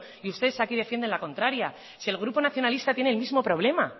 y ustedes aquí defienden la contraria si el grupo nacionalista tiene el mismo problema